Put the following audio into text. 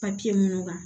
minnu kan